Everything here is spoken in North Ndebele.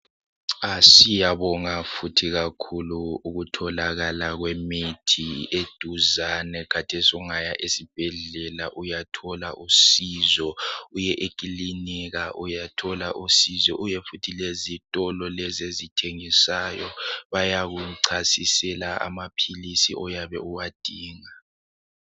Siyabonga fithi kakhulu ukutholakala kwemithi eduzane khathesi ungaya esibhedlela uyathola usizo, uye ekilinika uyathola usizo, uye futhi lezitolo lezi ezithengisayo bayakuchasisela amaphilisi oyabe uwadinga.